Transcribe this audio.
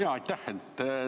Jaa, aitäh!